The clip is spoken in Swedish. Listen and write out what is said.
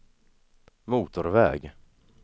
motorväg